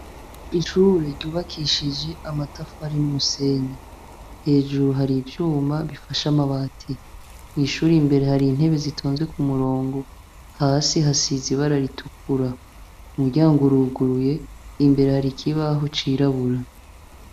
ishure ryubakishije amatafari n'umusenyi hejuru hari ivyuma bifashe amabati mwishuri imbere hari intebe zitonze ku murongo hasi hasize ibara ritukura umuryango uruguruye imbere hari ikibaho cirabura